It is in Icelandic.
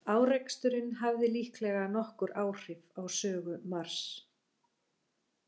Áreksturinn hafði líklega nokkur áhrif á sögu Mars.